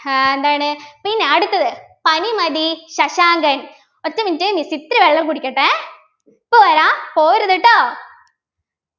ആഹ് എന്താണ് പിന്നെ അടുത്തത് പനിമതി ശശാങ്കൻ ഒറ്റ minute miss ഇത്തിരി വെള്ളം കുടിക്കട്ടെ ഇപ്പൊ വരാം പോവരുത് ട്ടോ